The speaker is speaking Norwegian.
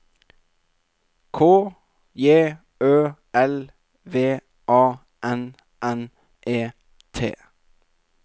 K J Ø L V A N N E T